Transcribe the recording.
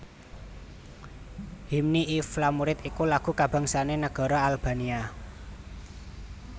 Hymni i Flamurit iku lagu kabangsané negara Albania